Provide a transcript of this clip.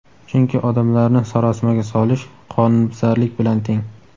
chunki odamlarni sarosimaga solish – qonunbuzarlik bilan teng!.